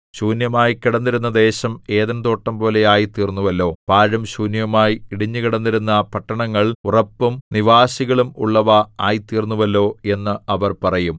ശൂന്യമായിക്കിടന്നിരുന്ന ദേശം ഏദെൻതോട്ടം പോലെയായിത്തീർന്നുവല്ലോ പാഴും ശൂന്യവുമായി ഇടിഞ്ഞുകിടന്നിരുന്ന പട്ടണങ്ങൾ ഉറപ്പും നിവാസികളും ഉള്ളവ ആയിത്തീർന്നുവല്ലോ എന്ന് അവർ പറയും